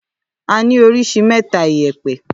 À ni òríṣì mẹta ìyépẹ.